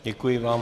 Děkuji vám.